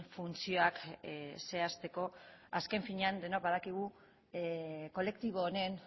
funtzioak zehazteko azken finean denok badakigu kolektibo honen